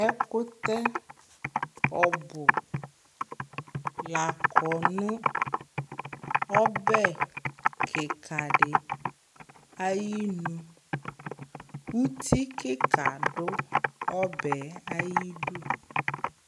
Ɛkʋtɛ ɔbʋ la kɔ nʋ ɔbɛ kɩka dɩ ayinu Uti kɩka dʋ ɔbɛ yɛ ayidu